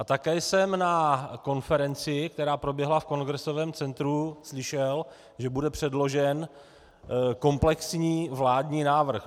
A také jsem na konferenci, která proběhla v Kongresovém centru, slyšel, že bude předložen komplexní vládní návrh.